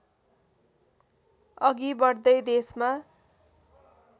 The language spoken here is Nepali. अघि बढ्दै देशमा